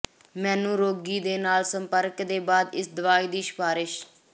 ਮੈਨੂੰ ਰੋਗੀ ਦੇ ਨਾਲ ਸੰਪਰਕ ਦੇ ਬਾਅਦ ਇਸ ਦਵਾਈ ਦੀ ਸਿਫਾਰਸ਼